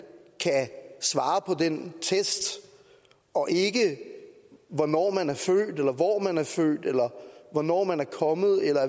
svarer på den test og ikke hvornår eller hvor man er født eller hvornår man er kommet eller